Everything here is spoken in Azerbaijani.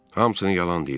Hamısını yalan deyirlər.